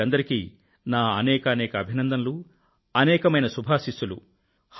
వీరందరికీ నా అనేకానేక అభినందనలు అనేకమైన శుభాశీస్సులు